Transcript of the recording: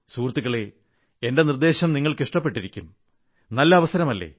സുഹൃത്തുക്കളേ എന്റെ നിർദ്ദേശം നിങ്ങൾക്ക് ഇഷ്ടപ്പെട്ടിരിക്കും നല്ല അവസരമല്ലേ